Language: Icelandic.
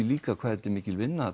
líka hversu mikil vinna